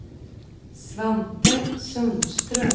Svante Sundström